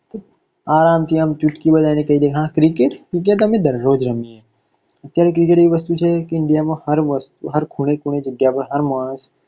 આરામથી આમ ચુટકી વગાડી ને કઈ દે કે cricket cricket તો અમે દરરોજ રમીએ, અત્યારે cricket આવી વસ્તુ છે કે કે ઈન્ડિયામાં હર ખૂણે ખૂણે, જગ્યા પર, હર માણસ